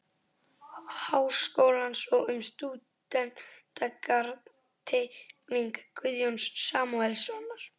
Háskólans og um stúdentagarð-Teikning Guðjóns Samúelssonar